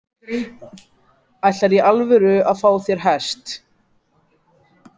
Ætlarðu í alvöru að fá þér hest?